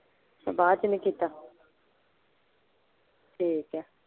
ਬਾਅਦ ਚ ਨਹੀਂ ਕੀਤਾ ਠੀਕ ਆ।